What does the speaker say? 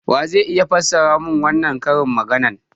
Wa zai iya fassara mun wannan karin magana?